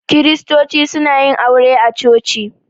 Kiristoci suna yin aure a coci.